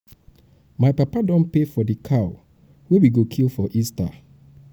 my papa don pay for di cow wey we go kill for easter.